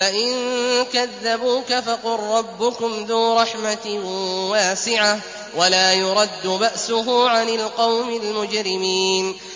فَإِن كَذَّبُوكَ فَقُل رَّبُّكُمْ ذُو رَحْمَةٍ وَاسِعَةٍ وَلَا يُرَدُّ بَأْسُهُ عَنِ الْقَوْمِ الْمُجْرِمِينَ